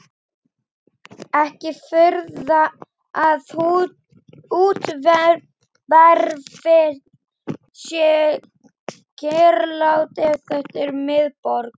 Ekki furða að úthverfin séu kyrrlát ef þetta er miðborg